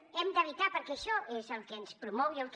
ho hem d’evitar perquè això és el que ens promou i el que